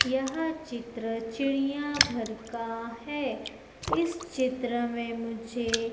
यह चित्र चिड़ियाघर का हैं इस चित्र में मुझे--